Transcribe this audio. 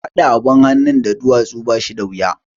Haɗa abin hannun da duwatsu ba shi da wuya